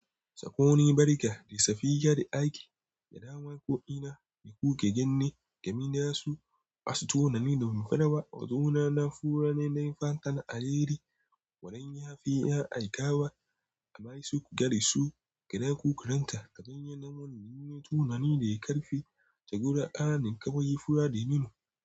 Sako ni barika da safiya da aiki, da dawan ko'ina, da kuke gani da mina su, asu tunani da mun fadawa, watsuna na fura ne na fankan alheri, wadon yafi ya aikawa, a masu gari su, gada ku karanta, gadan yanawan, nime tunani da ya karfi, da guda ƙananin ƙabai fura da yunnu.